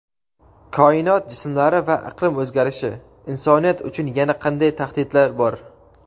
koinot jismlari va iqlim o‘zgarishi: insoniyat uchun yana qanday tahdidlar bor?.